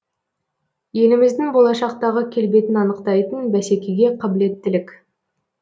еліміздің болашақтағы келбетін анықтайтын бәсекеге қабілеттілік